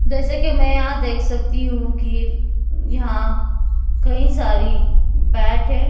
जैसे कि मैं यहां देख सकती हूं कि यहां कई सारी बैट है।